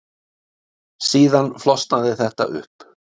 Síðan flosnaði þetta upp.